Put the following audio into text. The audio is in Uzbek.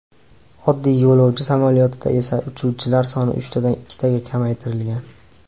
Oddiy yo‘lovchi samolyotida esa uchuvchilar soni uchtadan ikkitaga kamaytirilgan.